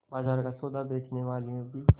बाजार का सौदा बेचनेवालियॉँ भी